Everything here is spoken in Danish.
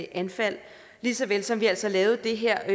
anfald lige såvel som vi altså lavede det her